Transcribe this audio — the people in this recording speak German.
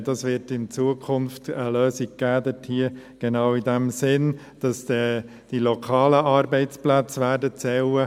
Es wird in Zukunft eine Lösung geben, in genau diesem Sinn, dass die lokalen Arbeitsplätze zählen werden.